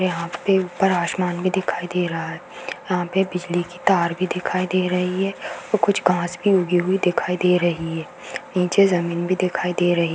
यहां पे ऊपर आसमान भी दिखाई दे रहा है। यहाँ पर बिजली की तार भी दिखाई दे रही है ओर कुछ घाँस भी उगी हुई दिखाई दे रही है। नीचे जमीन भी दिखाई दे रही है।